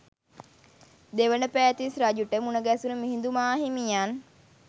දෙවන පෑතිස් රජුට මුණගැසුණු මිහිඳු මාහිමියන්